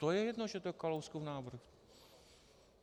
To je jedno, že to je Kalouskův návrh.